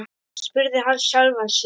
spurði hann sjálfan sig.